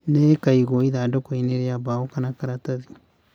Nĩ ikaigwo ithandũkũ-inĩ rĩa mbaũ kana karatathi